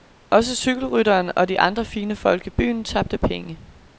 Også cykelrytteren og de andre fine folk i byen tabte penge.